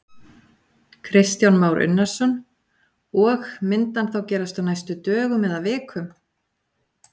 Kristján Már Unnarsson: Og, myndi hann þá gerast á næstu dögum eða vikum?